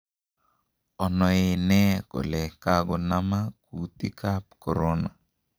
Onoenee kole kogonama kuutik an Corona.